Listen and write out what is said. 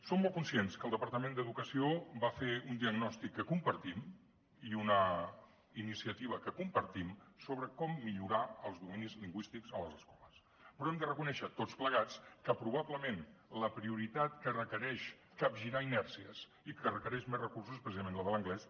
som molt conscients que el departament d’educació va fer un diagnòstic que compartim i una iniciativa que compartim sobre com millorar els dominis lingüístics a les escoles però hem de reconèixer tots plegats que probablement la prioritat que requereix capgirar inèrcies i que requereix més recursos és precisament la de l’anglès